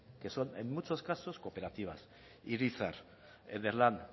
que son en muchos casos cooperativas irizar ederlan